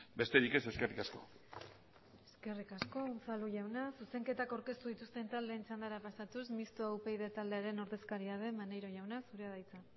besterik ez eskerrik asko eskerrik asko unzalu jauna zuzenketak aurkeztu dituzten taldeen txandara pasatuz mistoa upyd taldearen ordezkaria den maneiro jauna zurea da hitza